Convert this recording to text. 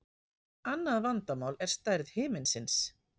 Annað vandamál er stærð himinsins.